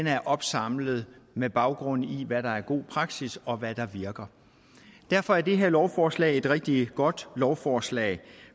er opsamlet med baggrund i hvad der er god praksis og hvad der virker derfor er det her lovforslag er et rigtig godt lovforslag